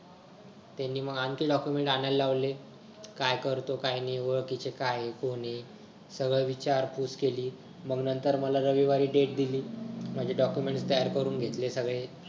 त्यांनी मग आणखी document आणायला लावले काय करतो काय नाय व किती काय कोण हाय सगळं विचारपूस केली मंग नंतर रविवारी मला date दिली माझे documents तयार करून घेतले सगळे